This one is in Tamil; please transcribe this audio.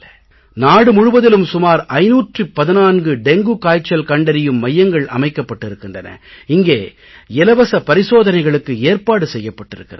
நாடு முழுவதிலும் சுமார் 514 டெங்கு காய்ச்சல் கண்டறியும் மையங்கள் அமைக்கப்பட்டிருக்கின்றன இங்கே இலவச பரிசோதனைகளுக்கு ஏற்பாடு செய்யப்பட்டிருக்கிறது